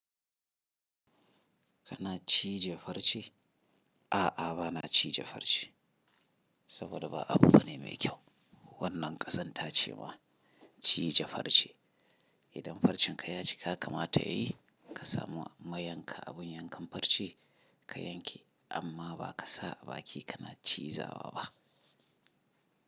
Kana cije farce? A'a, ba na cije farce. Saboda ba abu bane mai kyau. Wannan ƙazan ta ce ma, cije farce. Idan farcen ka ya cika, kamata yayi ka samu ma yanka abun yankan farce ka yanke. Amma ba ka sa a baki kana ciza wa ba.